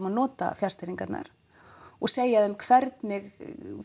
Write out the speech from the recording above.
að nota fjarstýringarnar og segja þeim hvernig